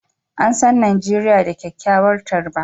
An san Najeriya da kyakkyawar tarba